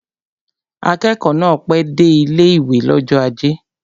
Akẹ́kọ̀ọ́ náà pẹ́ dé ilé-ìwé l'ọ́jọ́ ajé